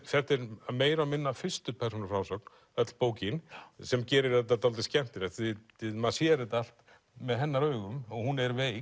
þetta er meira og minna fyrstu persónu frásögn öll bókin sem gerir þetta dálítið skemmtilegt og maður sér þetta allt með hennar augum og hún er veik